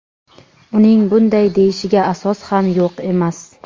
Uning bunday deyishiga asos ham yo‘q emas.